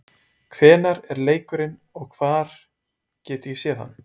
Hvenær er leikurinn og hvar get ég séð hann?